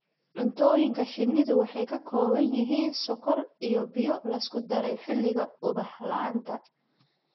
Cuntooyinka shinnidu waxay ka kooban yihiin sonkor iyo biyo la isku daray xilliga ubax la'aanta.